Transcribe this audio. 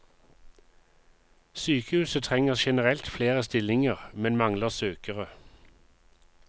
Sykehuset trenger generelt flere stillinger, men mangler søkere.